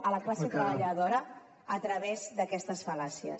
a la classe treballadora a través d’aquestes fal·làcies